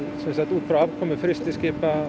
út frá afkomu frystiskipa